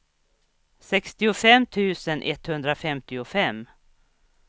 sextiofem tusen etthundrafemtiofem